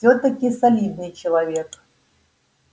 всё-таки солидный человек